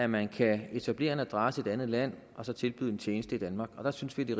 man kan etablere en adresse i et andet land og så tilbyde en tjeneste i danmark der synes vi det